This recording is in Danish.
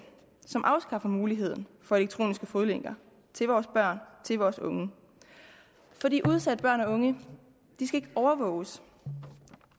som afskaffer muligheden for elektronisk fodlænke til vores børn til vores unge udsatte børn og unge skal overvåges